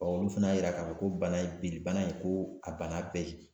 olu fana y'a yira k'a fɔ ko bana in ye bilibana ye ko; a bana bɛɛ ye